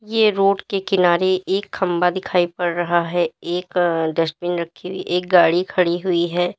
ये रोड के किनारे एक खंबा दिखाई पड़ रहा है। एक अ डस्टबिन रखी हुई एक गाड़ी खड़ी हुई है।